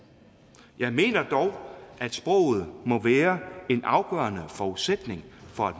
jeg mener dog at sproget må være en afgørende forudsætning for